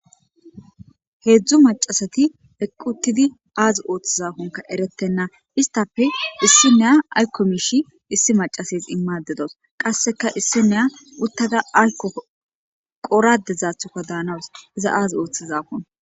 heedzdzu macasati eqqutidi aazi ooththazakonka eretenna istappe issi neya ayko miishi issi macases immadedos qasseka issi neya uttada ayko qoradezathoka daanawus iza aaz ooththazakon